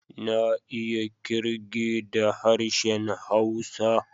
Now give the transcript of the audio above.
Na iya kirge da harshen Hausa.